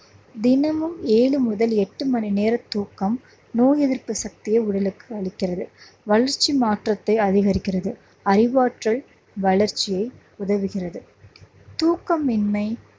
தினமும் ஏழு முதல் எட்டு மணி நேர தூக்கம் நோய் எதிர்ப்பு சக்தியை உடலுக்கு அளிக்கிறது. வளர்ச்சி மாற்றத்தை அதிகரிக்கிறது. அறிவாற்றல் வளர்ச்சியை உதவுகிறது தூக்கமின்மை